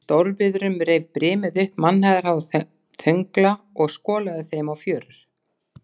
Í stórviðrum reif brimið upp mannhæðarháa þöngla og skolaði þeim á fjörur.